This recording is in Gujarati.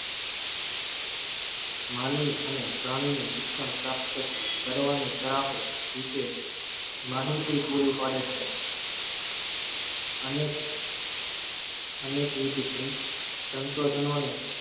માનવી અને પ્રાણીની શિક્ષણ પ્રાપ્ત કરવાની તરાહુ વિષે માહિતી પૂરીપાડે છે અનેક અનેક વિધ સન સંશોધનોને